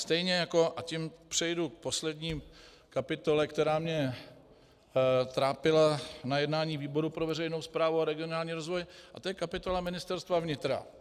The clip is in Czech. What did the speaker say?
Stejně jako, a tím přejdu k poslední kapitole, která mě trápila na jednání výboru pro veřejnou správu a regionální rozvoj, a to je kapitola Ministerstva vnitra.